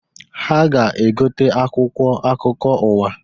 Ha ga-egote akwụkwọ akụkọ ụwa.